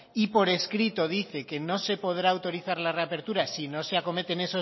y por escrito dice que no se podrá autorizar la reapertura si no se ha acometen